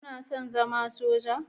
Kana son zama Soja?